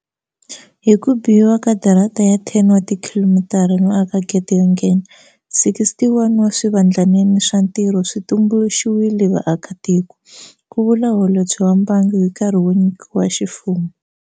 Hi ku bihiwa ka darata ya 10 wa tikhilomitara no aka gede yo nghena, 61 wa swivandlanene swa mitirho swi tumbuluxiwele vaakatiko, ku vula Holobye wa Mbangu hi nkarhi wo nyikiwa ximfumo.